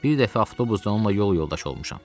Bir dəfə avtobusda onunla yol yoldaşı olmuşam.